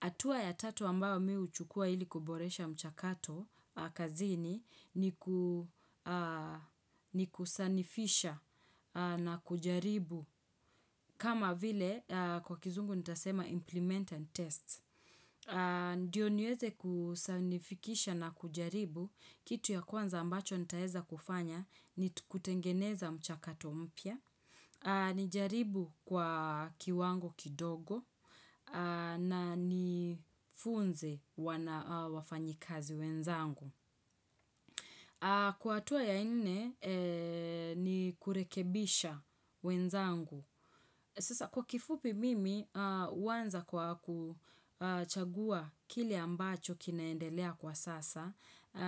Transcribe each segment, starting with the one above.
Atua ya tatu ambao mihuchukua ili kuboresha mchakato a kazini ni kuu ni kusanifisha na kujaribu. Kama vile aaa kwa kizungu nitasema implement and test. Aaa Ndiyo niweze kuu sanifikisha na kujaribu. Kitu ya kwanza ambacho nitaeza kufanya ni kutengeneza mchakato mpya. Nijaribu kwa kiwango kidogo na nifunze wana wafanyikazi wenzangu. Kwa atua ya nne, ni kurekebisha wenzangu. Sasa kwa kifupi mimi, uwanza kwa kuchagua kile ambacho kinaendelea kwa sasa.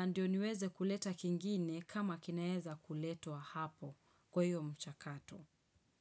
Ndiyo niweze kuleta kingine kama kinaeza kuletwa hapo kwa hiyo mchakato.